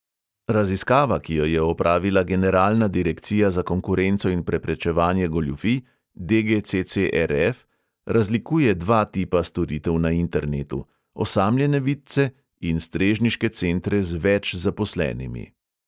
Raziskava, ki jo je opravila generalna direkcija za konkurenco in preprečevanje goljufij razlikuje dva tipa storitev na internetu: osamljene vidce in strežniške centre z več zaposlenimi.